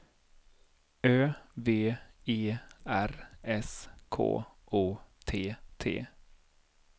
Ö V E R S K O T T